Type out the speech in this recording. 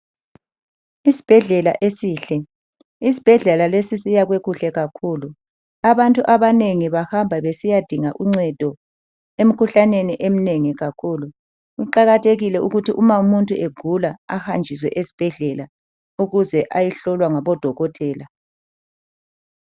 Isibhedlela esihle. Isibhedlela. lesi siyakhwe kuhle kakhulu. Abantu abanengi bahamba besiyadinga uncedo emkhuhlaneni eminengi kakhulu. Kuqakathekile ukuthi umuntu nxa egula ahanjiswe esibhedlela ukuze ayehlolwa ngodokotela